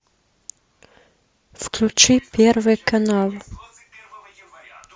включи первый канал